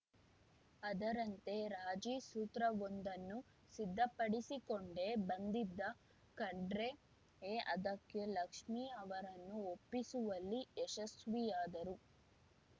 ಅದರಂತೆ ರಾಜಿಸೂತ್ರವೊಂದನ್ನು ಸಿದ್ಧಪಡಿಸಿಕೊಂಡೇ ಬಂದಿದ್ದ ಖಂಡ್ರೆ ಅದಕ್ಕೆ ಲಕ್ಷ್ಮಿ ಅವರನ್ನು ಒಪ್ಪಿಸುವಲ್ಲಿ ಯಶಸ್ವಿಯಾದರು